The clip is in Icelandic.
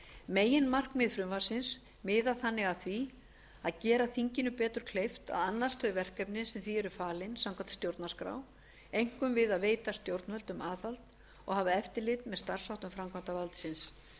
meginmarkmið frumvarpsins miðar þannig að því að því að gera þinginu betur kleift að annast þau verkefni sem því eru falin samkvæmt stjórnarskrá einkum við að veita stjórnvöldum aðhald og hafa eftirlit með starfsháttum framkvæmdarvaldsins